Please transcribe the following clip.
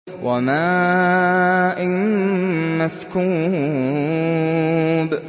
وَمَاءٍ مَّسْكُوبٍ